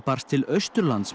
barst til Austurlands